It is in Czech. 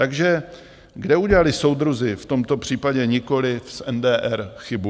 Takže, kde udělali soudruzi, v tomto případě nikoliv z NDR, chybu?